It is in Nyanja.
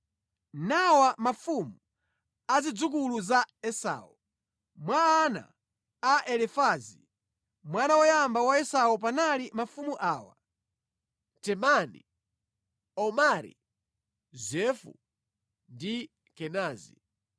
Nawa mafumu a zidzukulu za Esau: Mwa ana a Elifazi, mwana woyamba wa Esau panali mafumu awa: Temani, Omari, Zefo, ndi Kenazi,